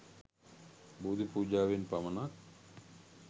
බෝධි පූජාවෙන් පමණක්